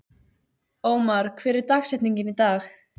Ómar, hver er dagsetningin í dag?